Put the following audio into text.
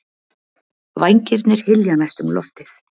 Vængirnir hylja næstum loftið.